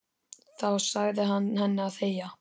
Þá sagði hann henni að þegja.